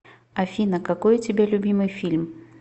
афина какой у тебя любимый фильм